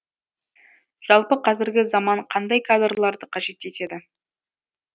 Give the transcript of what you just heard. жалпы қазіргі заман қандай кадрларды қажет етеді